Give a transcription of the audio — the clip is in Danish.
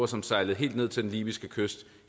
som sejlede helt ned til den libyske kyst